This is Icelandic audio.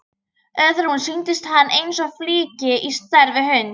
Öðrum sýndist hann eins og flykki á stærð við hund.